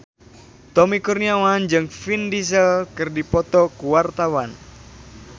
Tommy Kurniawan jeung Vin Diesel keur dipoto ku wartawan